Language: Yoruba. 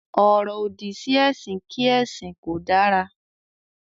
“Ọ̀rọ̀-òdì” sí ẹ̀sìn kí ẹ̀sìn kò dára.